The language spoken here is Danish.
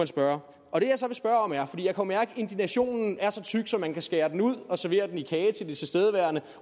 spørge om er for jeg kan mærke at indignationen er så tyk at man kan skære den ud og servere den som kage til de tilstedeværende